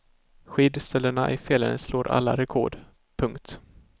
Skidstölderna i fjällen slår alla rekord. punkt